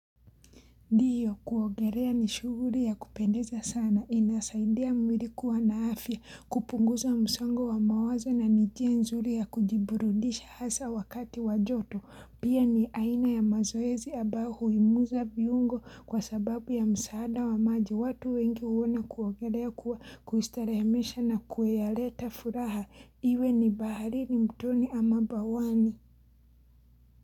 Ndiyo kuogerea ni shuguri ya kupendeza sana inasaidea mwili kuwa na afya kupunguza msongo wa mawaza na nijia nzuri ya kujiburudisha hasa wakati wajoto pia ni aina ya mazoezi ambao huimuza viungo kwa sababu ya msaada wa maji watu wengi uona kuogerea kuwa kuistarahemesha na kueyaleta furaha iwe ni baharini mtoni ama bawani.